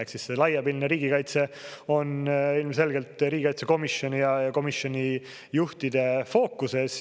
Ehk siis see laiapindne riigikaitse on ilmselgelt riigikaitsekomisjoni ja komisjoni juhtide fookuses.